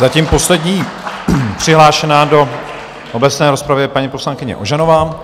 Zatím poslední přihlášená do obecné rozpravy je paní poslankyně Ožanová.